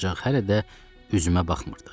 Ancaq hələ də üzümə baxmırdı.